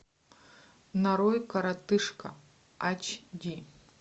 нарой коротышка ач ди